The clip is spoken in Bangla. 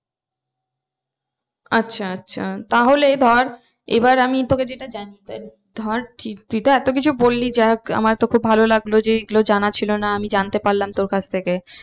আচ্ছা আচ্ছা তাহলে ধর এবার আমি তোকে যেটা জানতে ধর তুই তো এতো কিছু বললি যাই হোক আমার তো খুব ভালো লাগলো যে এইগুলো জানা ছিল না জানতে পারলাম তোর কাছ থেকে